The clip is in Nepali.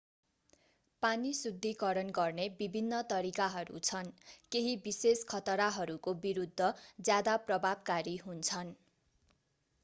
पानी शुद्धीकरण गर्ने विभिन्न तरिकाहरू छन् केही विशेष खतराहरूको विरuद्ध ज्यादा प्रभावकारी हुन्छन्।